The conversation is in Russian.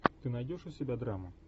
ты найдешь у себя драму